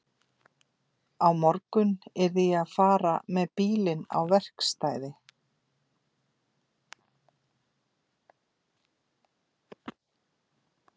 Á morgun yrði ég að fara með bílinn á verkstæði.